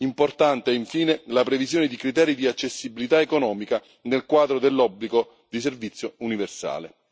Importante è infine la previsione di criteri di accessibilità economica nel quadro dell'obbligo di servizio universale.